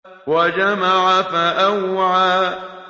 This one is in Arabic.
وَجَمَعَ فَأَوْعَىٰ